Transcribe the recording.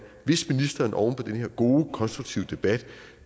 hvis ministeren oven på den her gode konstruktive debat